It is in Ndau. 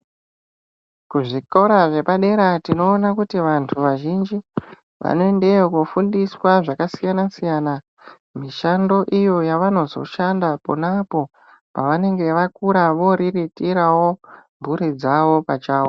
Kuzvikora zvepadera tinoona kuti vantu vazhinji vanoendeyo kofundiswa zvakasiyana siyana mishando iyo yavanozo shanda ponapo pavanenge vakura voriritirawo mhuri dzavo pachavo.